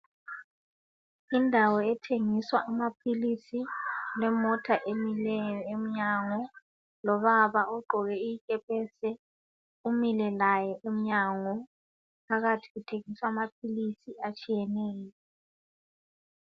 Indawo ethengiswa amaphilisi, kulemota emileyo emnyango lobaba ogqoke ikepesi umile laye emnyango phakathi kuthengiswa amaphilisi atshiyeneyo.